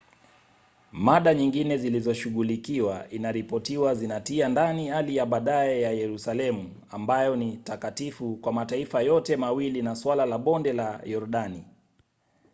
mada nyingine zilizoshughulikiwa inaripotiwa zinatia ndani hali ya baadaye ya yerusalemu ambayo ni takatifu kwa mataifa yote mawili na suala la bonde la yordani